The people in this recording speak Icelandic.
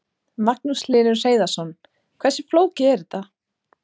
Magnús Hlynur Hreiðarsson: Hversu flókið er þetta?